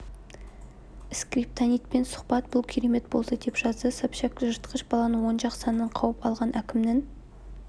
скриптонитпен сұхбат бұл керемет болды деп жазды собчак жыртқыш баланың оң жақ санын қауып алған әкімнің